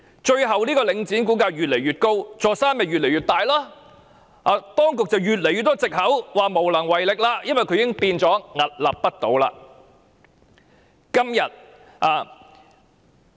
最終，領展股價越來越高，這座"大山"越來越大，當局便越來越多藉口，告訴我們當局無能為力，因為領展已經變得屹立不倒。